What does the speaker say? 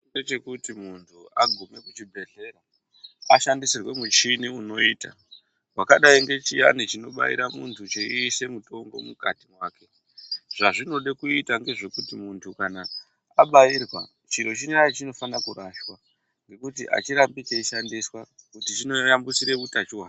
Kune chekuti muntu aguma kuchibhedhlera ashandisirwe michini unoita wakadai nechiyani chinobairwa muntu cheiswa mutombo mukati make zvazvinoda kuizwa ndezvekuti kana munhu abairwa chiro chiyani chinoda kurashwa ngekuti achirambi cheishandiswa nekuti chinotambudzira utachiona.